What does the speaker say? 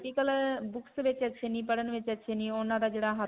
ਅਅ books ਵਿੱਚ ਅੱਛੇ ਨਹੀਂ, ਪੜ੍ਹਨ ਵਿੱਚ ਅੱਛੇ ਨਹੀਂ ਉਨ੍ਹਾਂ ਦਾ ਜਿਹੜਾ ਹੱਥ.